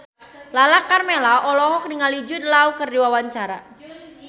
Lala Karmela olohok ningali Jude Law keur diwawancara